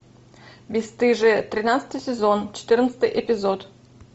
бесстыжие тринадцатый сезон четырнадцатый эпизод